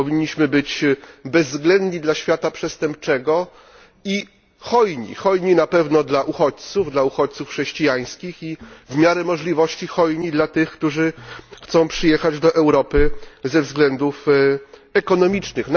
Powinniśmy być bezwzględni dla świata przestępczego i hojni hojni na pewno dla uchodźców, dla uchodźców chrześcijańskich i w miarę możliwości hojni dla tych, którzy chcą przyjechać do Europy ze względów ekonomicznych.